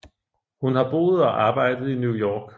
Hun har boet og arbejdet i New York